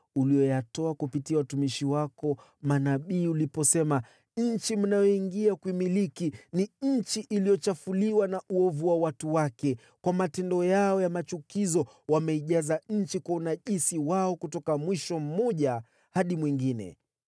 uliyoyatoa kupitia watumishi wako manabii uliposema: ‘Nchi mnayoiingia kuimiliki ni nchi iliyochafuliwa na uovu wa watu wake. Kwa matendo yao ya machukizo wameijaza nchi kwa unajisi wao kutoka mwisho mmoja hadi mwingine.